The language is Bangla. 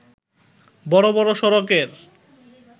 বড় বড় সড়কের